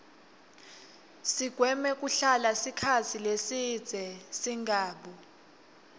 sigweme kuhlala sikhatsi lesibze singabu